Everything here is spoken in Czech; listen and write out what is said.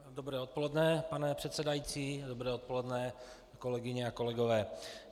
Dobré odpoledne pane předsedající, dobré odpoledne kolegyně a kolegové.